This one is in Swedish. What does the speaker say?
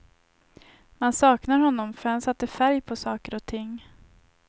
Man saknar honom, för han satte färg på saker och ting.